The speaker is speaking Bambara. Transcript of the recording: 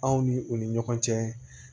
Anw ni u ni ɲɔgɔn cɛ